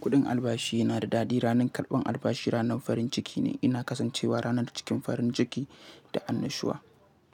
Kuɗin albashi yana da daɗi. Ranar karɓan albashi ranar farin ciki ne. Ina kasancewa ranar cikin farin ciki da annashuwa.